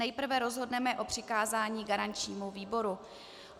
Nejprve rozhodneme o přikázání garančnímu výboru.